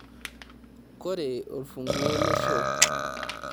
Koree orfunguoo le shoo?